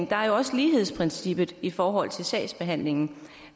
der er jo også lighedsprincippet i forhold til sagsbehandlingen